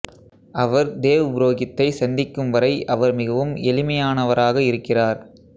அவர் தேவ் புரோகித்தை சந்திக்குவரை அவர் மிகவும் எளிமையானவராக இருக்கிறார்